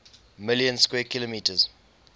million square kilometers